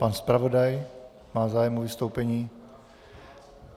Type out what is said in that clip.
Pan zpravodaj - má zájem o vystoupení?